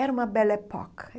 Era uma.